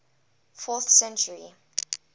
fourth century